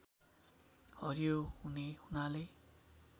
हरियो हुने हुनाले